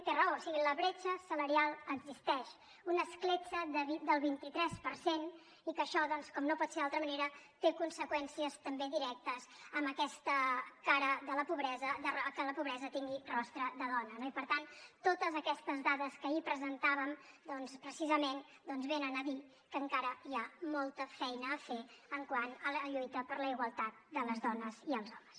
té raó o sigui la bretxa salarial existeix una escletxa del vint tres per cent i que això doncs com no pot ser d’altra manera té conseqüències també directes amb aquesta cara de la pobresa que la pobresa tingui rostre de dona no i per tant totes aquestes dades que ahir presentàvem doncs precisament venen a dir que encara hi ha molta feina a fer quant a la lluita per la igualtat de les dones i els homes